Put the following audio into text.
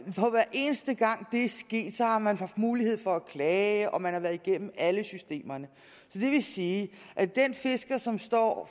eneste gang det er sket har man haft mulighed for at klage og man har været igennem alle systemerne det vil sige at den fisker som står